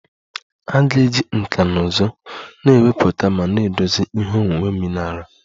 A ga-eji nkà na ụzụ na-ewepụta ma na-edozi ihe onwunwe mineral